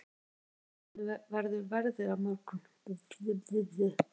Marit, hvernig verður veðrið á morgun?